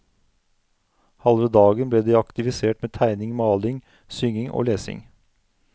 Halve dagen ble de aktivisert med tegning, maling, synging og lesing.